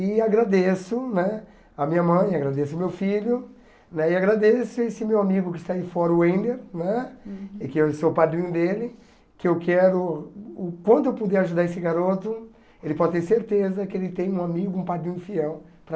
E agradeço né a minha mãe, agradeço o meu filho, né e agradeço esse meu amigo que está aí fora, o Ender, né que eu sou padrinho dele, que eu quero, quando eu puder ajudar esse garoto, ele pode ter certeza que ele tem um amigo, um padrinho fiel para